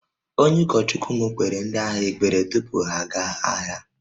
Onye ụkọchukwu m kpeere ndị agha ekpere tupu ha aga agha